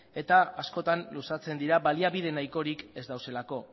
eta askotan luzatzen dira baliabide nahikorik ez daudelako